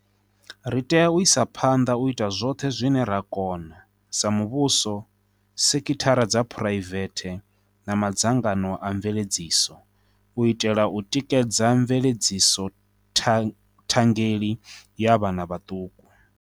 Ri tea u isa phanḓa u ita zwoṱhe zwine ra kona, sa muvhuso, sekithara dza phuraivete na madzangano a mveledziso, u itela u tikedza mveledziso thangeli ya vhana vhaṱuku.